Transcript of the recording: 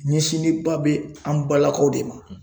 Ɲɛsinnenba bɛ an balakaw de ma.